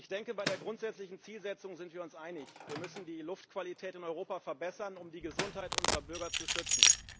Ich denke, bei der grundsätzlichen Zielsetzung sind wir uns einig Wir müssen die Luftqualität in Europa verbessern, um die Gesundheit unserer Bürger zu schützen.